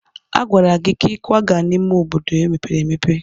A gwara gị ka ị kwaga n'ime obodo mepere emepe!